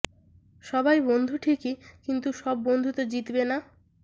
সবাই বন্ধু ঠিকই কিন্তু সব বন্ধু তো জিতবে না